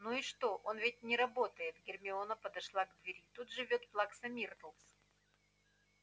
ну и что он ведь не работает гермиона подошла к двери тут живёт плакса миртл